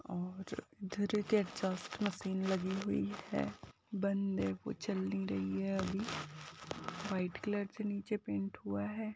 और इधर एक एग्जस्ट मशीन लगी हुई है बंद है वो चल नी रही है अभी। वाइट कलर से नीचे पेंट हुआ है।